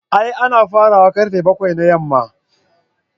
A'a ana fara wa karfe bakwai na yamma.